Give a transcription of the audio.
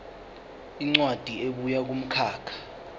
incwadi ebuya kumkhakha